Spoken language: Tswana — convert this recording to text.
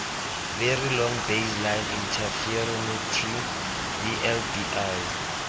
very long baseline interferometry vlbi